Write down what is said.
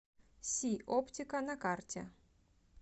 си оптика на карте